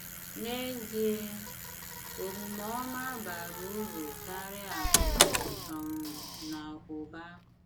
N’ezie, omume ọma bara uru karịa akụ̀ um na ụba.